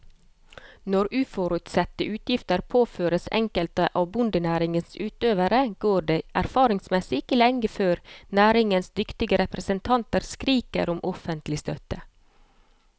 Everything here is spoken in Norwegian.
Når uforutsette utgifter påføres enkelte av bondenæringens utøvere, går det erfaringsmessig ikke lenge før næringens dyktige representanter skriker om offentlig støtte.